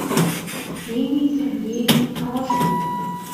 ксении сергеевне трошиной